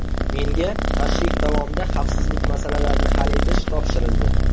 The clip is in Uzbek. Menga tashrif davomida xavfsizlik masalalarini hal etish topshirildi.